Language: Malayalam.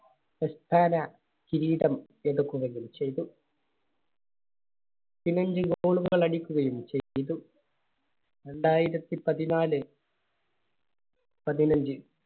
കിരീടം എടുക്കുകയും ചെയ്തു. Goal കൾ അടിക്കുകയും ചെയ്തു. രണ്ടായിരത്തി പതിനാല് പതിനഞ്ച്